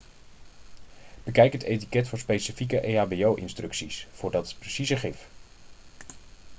bekijk het etiket voor specifieke ehbo-instructies voor dat precieze gif